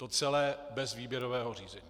To celé bez výběrového řízení.